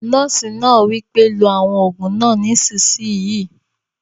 Nọ́ọ̀sì náà wí pé "lo àwọn òògùn náà nísìsiyìí!"